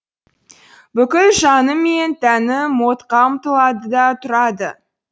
бүкіл жаным мен тәнім модқа ұмтылады да тұрады